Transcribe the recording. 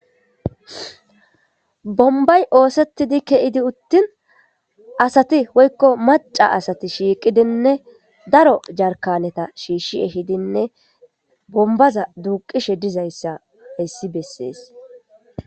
Bombbay oosettidii ke'i uuttin asati woykko maca asati shiiqqidinne daro jarkanetta shishii eehidinne bombaza duuqishe dizayssa hayssi beses